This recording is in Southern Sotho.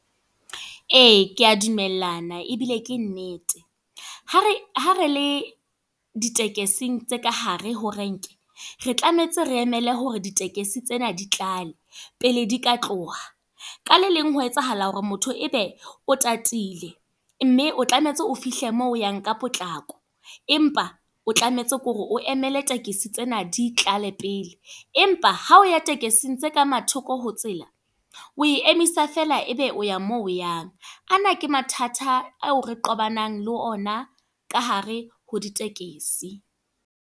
Ee, ke a dumellana ebile ke nnete. Ha re, ha re le ditekesing tse ka hare ho renke. Re tlametse re emele hore ditekesi tsena di tlale. Pele di ka tloha. Ka le leng ho etsahala hore motho ebe, o tatile. Mme o tlametse o fihle moo o yang ka potlako. Empa, o tlametse ke hore o emele tekesi tsena di tlale pele. Empa, ha o ya tekesing tse ka mathoko ho tsela. O e emisa feela ebe o ya mo yang. A na ke mathata ao re tobanang le ona ka hare ho ditekesi.